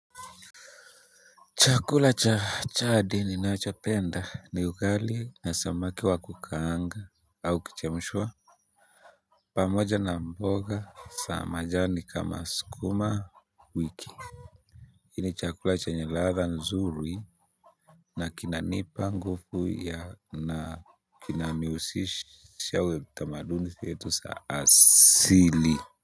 Chakula cha chadi ninachopenda ni ugali na samaki wa kukaanga. Au kuchemshwa pamoja na mboga sa majani kama skumawiki. Hii ni chakula chenye ladha nzuri. Na kinanipa nguvu na kinaniusisha wetamaduni setu saa asili.